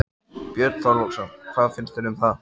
Björn Þorláksson: Hvað finnst þér um það?